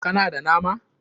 Ka na da nama?